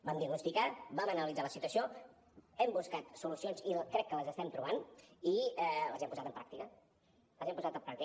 vam diagnosticar vam analitzar la situació hem buscat solucions i crec que les estem trobant i les hem posat en pràctica les hem posat en pràctica